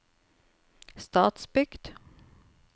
Stadsbygd